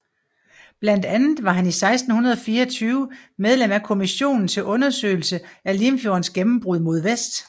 Blandt andet var han i 1624 medlem af Kommissionen til Undersøgelse af Limfjordens Gennembrud mod Vest